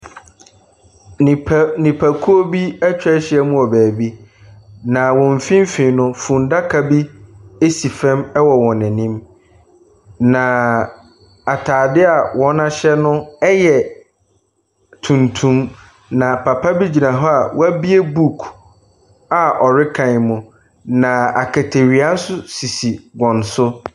Nnipa.. Nipakuo bi atwa ahyiam wɔ baabi, na wɔn mfimfini no, funnaka bi si fa wɔ wɔn anim, naaa atadeɛ a wɔahyɛ no yɛ tuntum, na papa bi gyina hɔ a wɔabie book a ɔrekan mu, na akatawie nso sisi wɔn so.